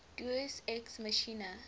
deus ex machina